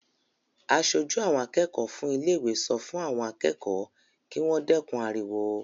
Aṣojú àwọn akẹ́kọ̀ọ́ fún ilé-ìwé sọ fún àwọn akẹ́kọ̀ọ́ kí wọ́n dẹ́kun ariwo.